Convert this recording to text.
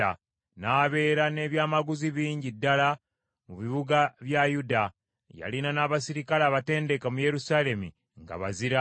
n’abeera n’ebyamaguzi bingi ddala mu bibuga bya Yuda. Yalina n’abaserikale abatendeke mu Yerusaalemi nga bazira.